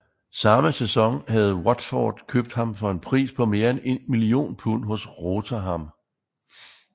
Samme sæson havde Watford købt ham for en pris på mere end 1 million pund hos Rotherham